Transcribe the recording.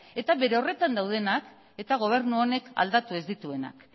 eta bere horretan daudenak eta gobernu honek aldatu ez dituenak